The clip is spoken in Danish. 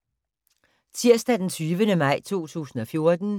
Tirsdag d. 20. maj 2014